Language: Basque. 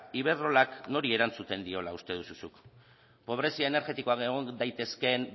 iberdrolak nori erantzuten diola uste duzu zuk pobrezia energetikoan egon daitezkeen